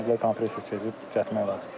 Dedilər kompresor çıxıb düzəltmək olar.